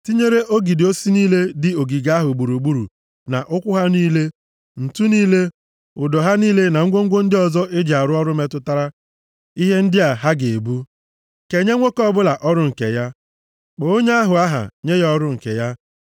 tinyere ogidi osisi niile dị ogige ahụ gburugburu na ụkwụ ha niile, ǹtu niile, ụdọ ha niile na ngwongwo ndị ọzọ e ji arụ ọrụ metụtara ihe ndị a ha ga-ebu. Kenye nwoke ọbụla ọrụ nke ya. Kpọ onye ahụ aha nye ya ọrụ nke ya.